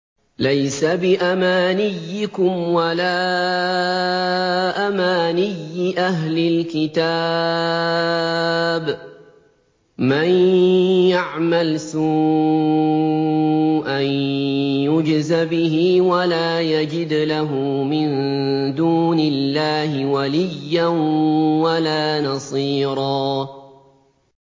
لَّيْسَ بِأَمَانِيِّكُمْ وَلَا أَمَانِيِّ أَهْلِ الْكِتَابِ ۗ مَن يَعْمَلْ سُوءًا يُجْزَ بِهِ وَلَا يَجِدْ لَهُ مِن دُونِ اللَّهِ وَلِيًّا وَلَا نَصِيرًا